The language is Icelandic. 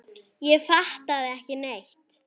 Ég fattaði ekki neitt.